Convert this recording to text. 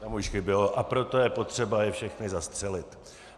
Tam už chybělo: a proto je potřeba je všechny zastřelit.